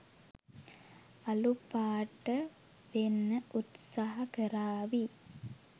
අලු පාට වෙන්න උත්සහ කරාවි.